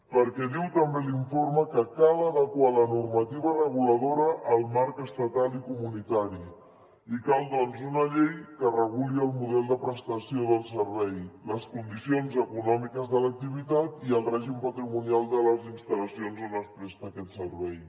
perquè diu també l’informe que cal adequar la normativa reguladora al marc estatal i comunitari i cal doncs una llei que reguli el model de prestació del servei les condicions econòmiques de l’activitat i el règim patrimonial de les instal·lacions on es presta aquest servei